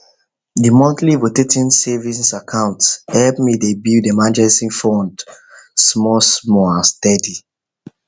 the monthly rotating savings account help me dey build emergency fund smallsmall and steady